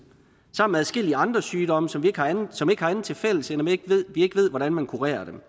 sammen med adskillige andre sygdomme som ikke har andet tilfælles end at vi ikke ved hvordan man kurerer dem